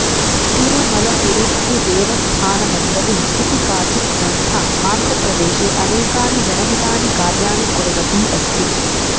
तिरुमलतिरुपतिदेवस्थानमण्डली इति काचित् संस्था आन्ध्रप्रदेशे अनेकानि जनहितानि कार्याणि कुर्वती अस्ति